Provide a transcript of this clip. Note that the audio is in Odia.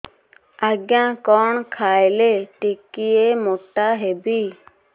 ଆଜ୍ଞା କଣ୍ ଖାଇଲେ ଟିକିଏ ମୋଟା ହେବି